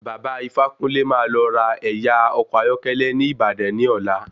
Baba ifákúnlé máa lọ ra ẹ̀yà ọkọ̀ ayọ́kẹ́lẹ́ ni Ìbàdàn ní ọ̀la.